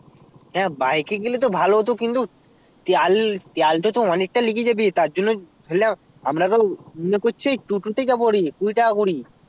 হ্যাঁ bike এ গেলে তো ভালো হতো কিন্তু তেল তেল তা তো অনেকটাই লেগেই যাবে তারজন্য বুঝলা আমরা তা মুনে করছি টোটো তেই যাবো কুড়ি টাকা করি